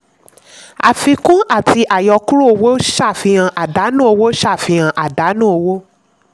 àfikún àti àyọkúrò owó ṣàfihàn àdánù owó ṣàfihàn àdánù owó.